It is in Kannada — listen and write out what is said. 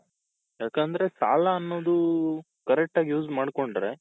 ಯಾಕಂದ್ರೆ ಸಾಲ ಅನ್ನೋದು correct ಆಗಿ use ಮಾಡ್ಕೊಂಡ್ರೆ.